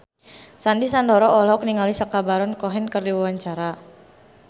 Sandy Sandoro olohok ningali Sacha Baron Cohen keur diwawancara